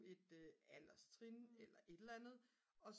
et alderstrin eller et eller andet og